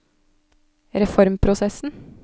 reformprosessen